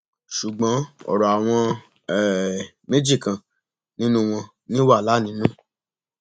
ṣùgbọn ọrọ àwọn um méjì kan nínú wọn ní wàhálà nínú